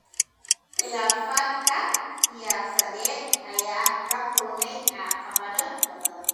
Khilaafaadka siyaasadeed ayaa la kulmay caqabado badan.